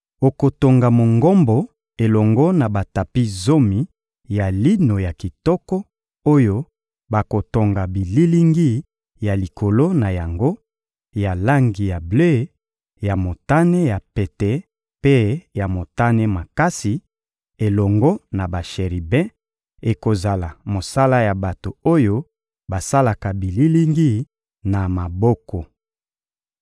Okotonga Mongombo elongo na batapi zomi ya lino ya kitoko oyo bakotonga bililingi na likolo na yango, ya langi ya ble, ya motane ya pete mpe ya motane makasi, elongo na basheribe; ekozala mosala ya bato oyo basalaka bililingi na maboko.